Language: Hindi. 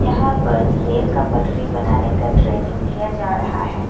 यहां पर रेल का पटरी बनाने का ट्रेनिंग दिया जा रहा है।